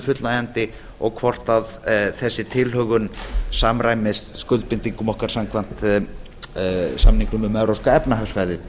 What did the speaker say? fullnægjandi og hvort þessi tilhögun samræmist skuldbindingum okkar samkvæmt samning um um evrópska efnahagssvæðið